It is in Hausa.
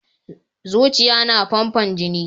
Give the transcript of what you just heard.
Zuciya na famfo jini.